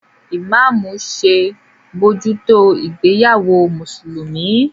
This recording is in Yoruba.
Imamu ṣe bojuto ìgbéyàwó Mùsùlùmí.